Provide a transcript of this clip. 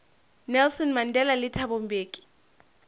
nelson mandela le thabo mbeki